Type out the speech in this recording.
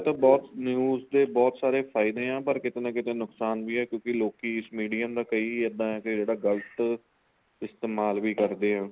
ਬਹੁਤ news ਤੇ ਬਹੁਤ ਸਾਰੇ ਫਾਇਦੇ ਏ ਪਰ ਕੀਤੇ ਨਾ ਕੀਤੇ ਨੁਕਸਾਨ ਵੀ ਏ ਕਿਉਂਕਿ ਲੋਕੀ stadium ਦਾ ਕਈ ਇਦਾਂ ਏ ਕੀ ਜਿਹੜਾ ਗਲਤ ਇਸਤੇਮਾਲ ਵੀ ਕਰਦੇ ਓ